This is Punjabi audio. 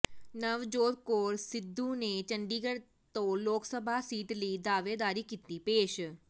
ਨਵਜੋਤ ਕੌਰ ਸਿੱਧੂ ਨੇ ਚੰਡੀਗੜ੍ਹ ਤੋਂ ਲੋਕ ਸਭਾ ਸੀਟ ਲਈ ਦਾਅਵੇਦਾਰੀ ਕੀਤੀ ਪੇਸ਼